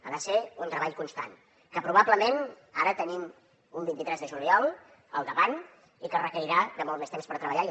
ha de ser un treball constant que probablement ara tenim un vint tres de juliol al davant requerirà de molt més temps per treballar hi